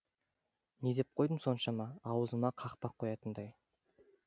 не деп қойдым соншама аузыма қақпақ қоятындай